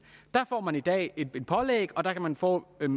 der får man i dag et pålæg og der kan man få en